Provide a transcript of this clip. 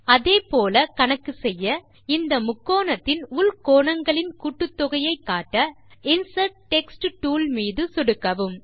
அதே போல கணக்கு செய்ய இந்த முக்கோணத்தின் உள் கோணங்களின் கூட்டுத்தொகையை காட்ட இன்சர்ட் டெக்ஸ்ட் டூல் மீது சொடுக்கவும்